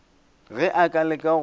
ge a ka leka go